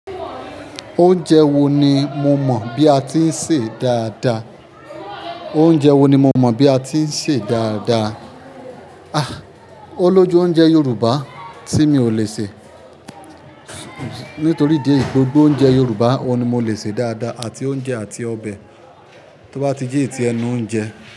Oúnjẹ wo ni mo mọ̀ bí a ti ń sè dáadáa? Oúnjẹ wo ni mo mọ̀ bí a ti ń sè dáadáa? Ah! Ó lójú oúnjẹ Yorùbá tí mi ò le sè nítorí idi eyi, gbogbo oúnjẹ Yorùbá òun ni mo le sè dáadáa àti oúnjẹ àti ọbẹ̀ tó bá ti jẹ́ eyi ti ẹnu oúnjẹ.